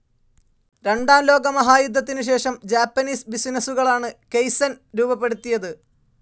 രണ്ടാം ലോകമഹായുദ്ധത്തിനുശേഷം ജാപ്പനീസ് ബിസിനസ്സുകളാണ് കൈസ്സെൻ രൂപപ്പെടുത്തിയത്.